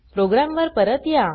programme वर परत या